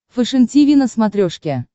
фэшен тиви на смотрешке